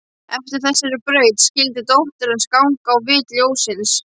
Eftir þessari braut skyldi dóttir hans ganga, á vit ljóssins.